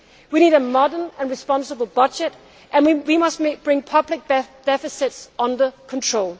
We need a modern and responsible budget, and we must bring public deficits under control.